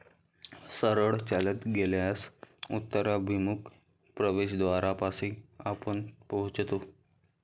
सरळ चालत गेल्यास उत्तराभिमुख प्रवेशद्वारापाशी आपण पोहोचतो.